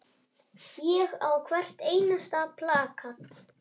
Ég á hvert einasta plakat.